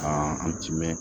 Ka an timinɛn